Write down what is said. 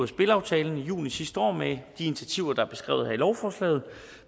spilaftalen i juni sidste år med de initiativer der er beskrevet her i lovforslaget